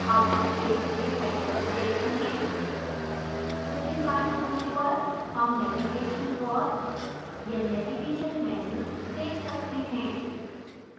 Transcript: अब हम पेज के header को देखते हैं ऊपरी बाएँ कोने पर हम navigation drawer या navigation menu let सकते हैं